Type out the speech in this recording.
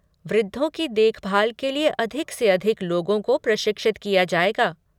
वृद्धों की देखभाल के लिए अधिक से अधिक लोगों को प्रशिक्षित किया जाएगा।